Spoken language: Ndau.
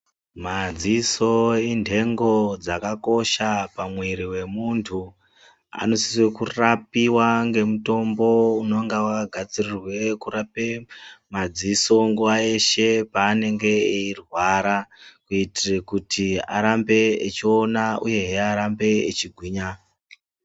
Madziso indengo dzakakosha pamwiri wemuntu , anosise kurapiwe ngemutombo unonga wakagadzirirwe kurape madziso nguwa yeshe paanenge eirwara kuitire kuti arambe echiona uyehe arambe echigwinya.